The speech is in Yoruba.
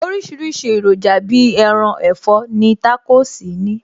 Oríṣiríṣi èròjà Bíi ẹran, ẹ̀fọ́ ni Tacos ní